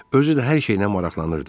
Özü də hər şeylə maraqlanırdı.